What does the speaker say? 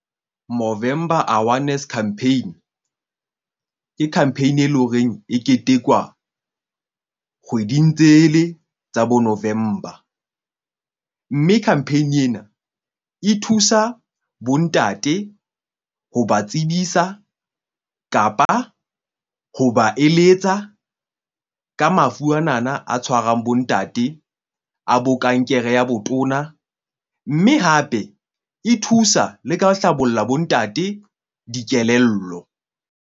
Movember Awareness Campaign ke campaign e leng horeng e ketekwa kgweding tsele tsa bo November. Mme campaign ena e thusa bo ntate ho ba tsebisa kapa ho ba eletsa ka mafu anana a tshwarang bo ntate a bo kankere ya botona. Mme hape e thusa le ka hlabolla bontate dikelello.